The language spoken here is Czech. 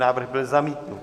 Návrh byl zamítnut.